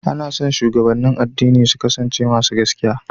Ana son shugabannin addini su kasance masu gaskiya.